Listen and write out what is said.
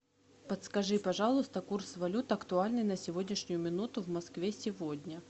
подскажи пожалуйста курс валют актуальный на сегодняшнюю минуту в москве сегодня